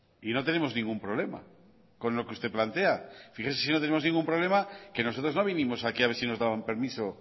y no tenemos ningún problema con lo que usted plantea fíjese si no tenemos ningún problema que nosotros no vinimos aquí a ver si nos daban permiso